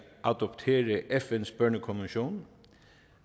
adoptere fns børnekonvention